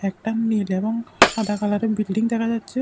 একটা মেডেবং এবং সাদা কালারের বিল্ডিং দেখা যাচ্ছে।